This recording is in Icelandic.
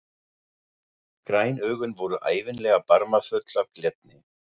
Græn augun voru ævinlega barmafull af glettni.